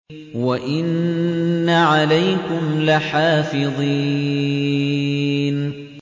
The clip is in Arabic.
وَإِنَّ عَلَيْكُمْ لَحَافِظِينَ